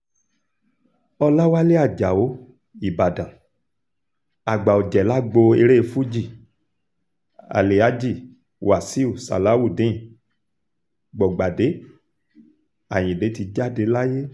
ọ̀làwálẹ̀ ajáò ìbàdàn àgbà ọ̀jẹ̀ lágbo eré fuji alhaji wasaiu salawudeen gbọ̀gbádé ayinde ti jáde láyé